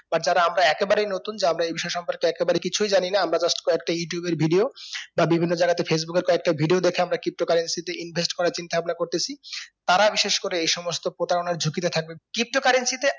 এবার যারা আমরা একেবারেই নতুন যা আমরা এই বিষয় সম্পর্কে একবারে কিছুই জানি না আমরা just কয়েকটা youtube এর video বা বিভিন্ন জায়গা তে facebook এর কয়েকটা video দেখে আমরা pto currency তে invest করার চিন্তা ভাবনা করতেসি তারা বিশেষ করে এই সমস্ত প্রতারণার ঝুঁকিতে থাকবে pto currency তে